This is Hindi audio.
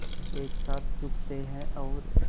एक साथ झुकते हैं और